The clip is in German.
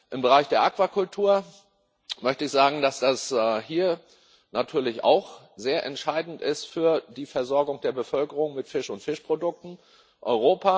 Im Bereich der Aquakultur möchte ich sagen, dass das hier natürlich auch sehr entscheidend für die Versorgung der Bevölkerung mit Fisch und Fischprodukten ist.